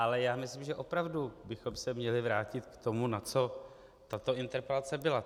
Ale já myslím, že opravdu bychom se měli vrátit k tomu, na co tato interpelace byla.